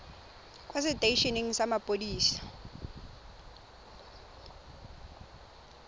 kwa setei eneng sa mapodisi